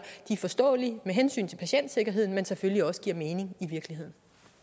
er forståelige med hensyn til patientsikkerheden men selvfølgelig også giver mening i virkeligheden